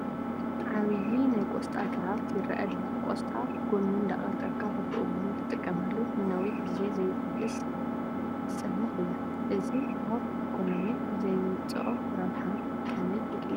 ዓብዪ ናይ ቆስጣ ግራት ይርአ ኣሎ፡፡ ቆስጣ ጐኑ እንዳቐንጠብካ በብእዋኑ ትጥቀመሉ ንነዊሕ ግዜ ዘይፈልስ ዝፀንሕ እዩ፡፡ እዚ ኣብ ኢኮነሚ ዘምፅኦ ረብሓ ከመይ ይግለፅ?